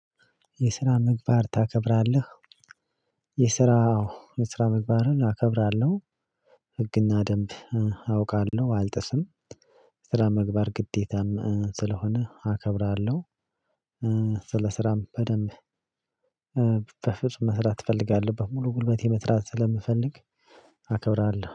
የስራ ምግባር ታከብራለህ? የስራ የስራ ምግባርን አከብራለሁ ህግና ደንብ አውቃለሁ አልጥስም። ስራ ምግባር ግዴታም ስለሆነ አከብራለሁ። ስለ ስራም በደንብ በፍጹም መስራት ትፈልጋለህ? በሙሉ ጉልበቴ መትራት ስለምፈልግ አከብራለሁ